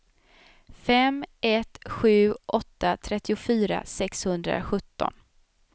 fem ett sju åtta trettiofyra sexhundrasjutton